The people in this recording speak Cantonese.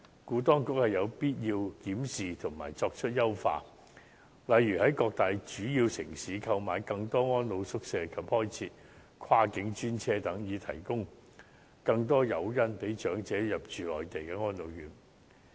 故此，當局有必要檢視政策及作出優化，例如在各大主要城市購買更多安老宿位及開設跨境專車，以提供更多誘因吸引長者入住內地安老院。